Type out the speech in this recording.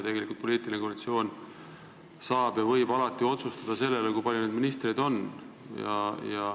See uus koalitsioon ju võib otsustada ka selle üle, kui palju valitsuses ministreid on.